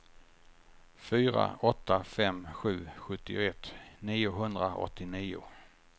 fyra åtta fem sju sjuttioett niohundraåttionio